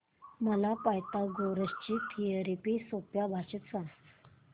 मला पायथागोरस ची थिअरी सोप्या भाषेत सांग